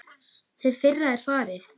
Hið fyrra er farið.